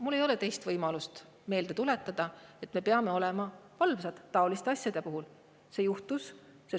Mul ei ole teist võimalust, et tuletada meile meelde, et me peame olema taoliste asjade suhtes valvsad.